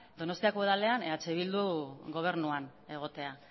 donostiako udalean eh bildu gobernuan egotea